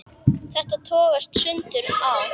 Þetta togast stundum á.